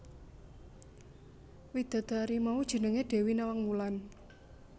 Widadari mau jenengé Dewi Nawang Wulan